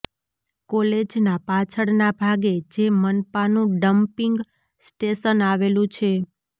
કોલેજના પાછળના ભાગે જે મનપાનું ડંપિંગ સ્ટેશન આવેલું છે